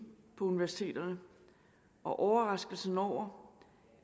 på universiteterne og overraskelsen over